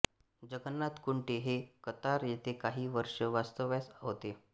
जगन्नाथ कुंटे हे कतार येथे काही वर्षे वास्तव्यास होते